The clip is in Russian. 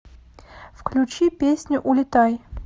включи песню улетай